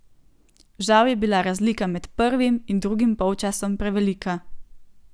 Žal je bila razlika med prvim in drugim polčasom prevelika.